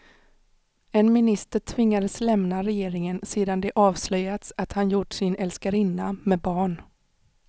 En minister tvingades lämna regeringen sedan det avslöjats att han gjort sin älskarinna med barn.